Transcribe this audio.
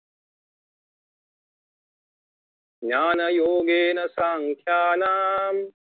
ज्ञानयोगेन साख्यानां